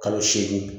Kalo seegin